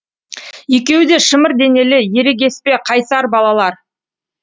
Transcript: екеуі де шымыр денелі ерегеспе қайсар балалар